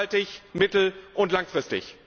Nachhaltig, mittel und langfristig!